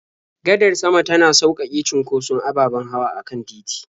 Gadar sama tana sauƙaƙe cunkoson ababen hawa a kan titi.